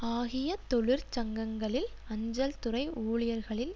ஆகிய தொழிற் சங்கங்களில் அஞ்சல் துறை ஊழியர்களில்